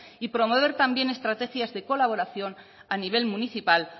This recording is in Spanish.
y promover también estrategias de colaboración a nivel municipal